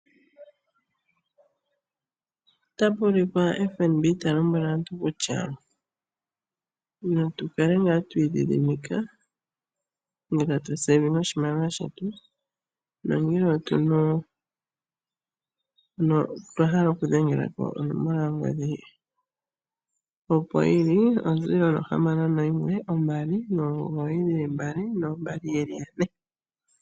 Otapu ulikwa FNB ta lombwele aantu kutya natu kale ngaa twi idhidhimika ngele tatu pungula oshimaliwa shetu. Nongele otwa hala oku dhengela ko onomola yongodhi opo yili, onomola nohamano noyimwe ombali nomugoyi dhili mbali noombali yeli yane.